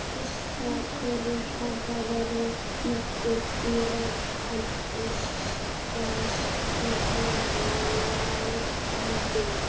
Þessar perur hafa verið nokkuð dýrar en virðast nú fara lækkandi.